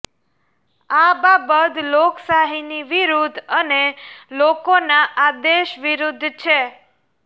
આ બાબત લોકશાહીની વિરુદ્ધ અને લોકોના આદેશ વિરુદ્ધ છે